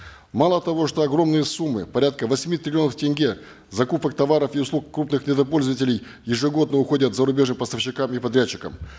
мало того что огромные суммы порядка восьми триллионов тенге закупок товаров и услуг крупных недропользователей ежегодно уходят зарубежным поставщикам и подрядчикам